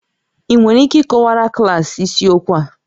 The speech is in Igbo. Ị nwere ike ịkọwara klaasị isiokwu a?